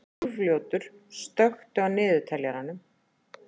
Úlfljótur, slökktu á niðurteljaranum.